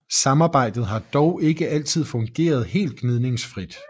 Samarbejdet har dog ikke altid fungeret helt gnidningsfrit